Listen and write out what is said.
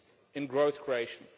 in growth creation.